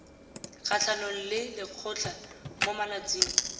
kgatlhanong le lekgotlha mo malatsing